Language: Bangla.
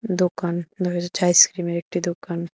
দোকান দেখা যাচ্ছে আইসক্রিমের একটি দোকান।